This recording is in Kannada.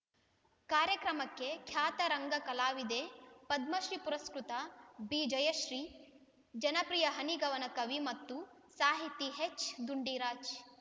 ಕಾರ್ಯಕ್ರಮಕ್ಕೆ ಖ್ಯಾತ ರಂಗ ಕಲಾವಿದೆ ಪದ್ಮಶ್ರೀ ಪುರಸ್ಕೃತ ಬಿ ಜಯಶ್ರೀ ಜನಪ್ರಿಯ ಹನಿಗವನ ಕವಿ ಮತ್ತು ಸಾಹಿತಿ ಹೆಚ್ ಡುಂಡಿರಾಜ್